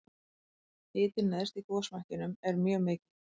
hitinn neðst í gosmekkinum er mjög mikill